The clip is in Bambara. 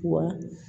Wa